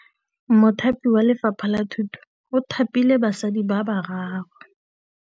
Mothapi wa Lefapha la Thutô o thapile basadi ba ba raro.